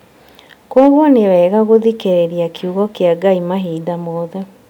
Kwoguo nĩ wega gũthikĩrĩria kiugo kĩa Ngai mahinda mothe